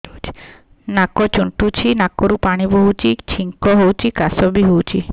ନାକ ଚୁଣ୍ଟୁଚି ନାକରୁ ପାଣି ବହୁଛି ଛିଙ୍କ ହଉଚି ଖାସ ବି ହଉଚି